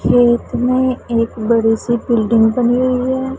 खेत मे एक बड़ी सी बिल्डिंग बनी हुई है।